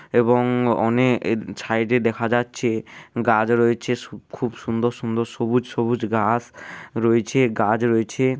এবং অনে এ ছাইডে -এ দেখা যাচ্ছে গাছ রয়েছে সু খুব সুন্দর সুন্দর সবুজ সবুজ ঘাস রয়েছে গাছ রয়েছে।